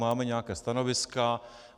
Máme nějaká stanoviska.